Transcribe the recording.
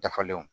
Dafalen